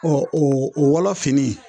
Ɔ o o wɔlɔ fini